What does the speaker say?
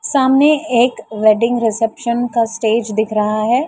सामने एक wedding reception का स्टेज दिख रहा है।